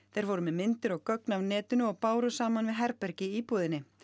þeir voru með myndir og gögn af netinu og báru saman við herbergi í íbúðinni